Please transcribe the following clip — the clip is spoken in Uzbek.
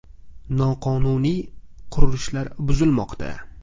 Noqonuniy qurilishlar buzilmoqda.